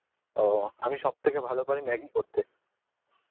ও আমি সব থেকে ভালো পারি maggi করতে